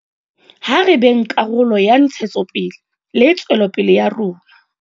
Ha re beng karolo ya ntshetsopele le tswelopele ya rona.